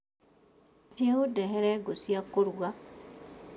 Thiĩ ũndehere ngũcia kũruga